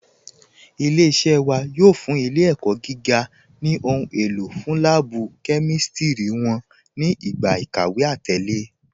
Ilẹ̀-iṣẹ̀ wà yóò fún ilẹ̀-ẹ̀kọ́ gígà ni ohun èlò fún lààbú kẹmístírí wọn ni igba ikàwé àtẹ̀lẹ̀.